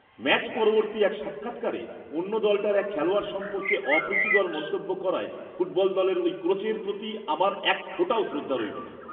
Match পরবর্তী এক সাক্ষাৎকারে অন্য দলটার এক খেলোয়াড় সম্পর্কে অপ্রীতিকর মন্তব্য করায় ফুটবল দলের ওই কোচের প্রতি আমার একফোঁটাও শ্রদ্ধা রইল না।